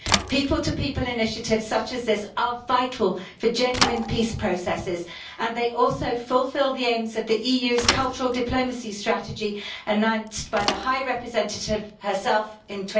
People to people initiatives such as this are vital for genuine peace processes and they also fulfil the aims of the EU's cultural diplomacy strategy announced by the High Representative herself in